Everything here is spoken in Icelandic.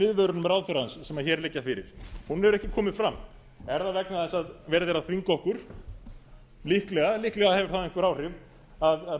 viðvörunum ráðherrans sem hér liggja fyrir hún hefur ekki komið fram er það vegna þess að verið er að þvinga okkur líklega líklega hefur það einhver áhrif að